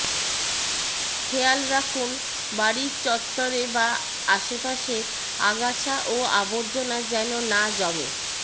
খেয়াল রাখুন বাড়ির চত্বরে বা আশপাশে আগাছা ও আবর্জনা যেন না জমে